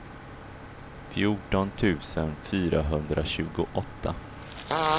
fjorton tusen fyrahundratjugoåtta